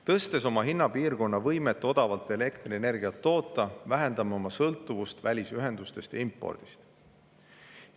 Tõstes oma hinnapiirkonna võimet odavalt elektrienergiat toota, vähendame oma sõltuvust välisühendustest ja impordist.